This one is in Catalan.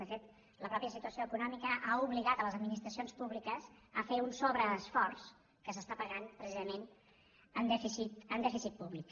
de fet la pròpia situació econòmica ha obligat les administracions públiques a fer un sobreesforç que s’està pagant precisament amb dèficit públic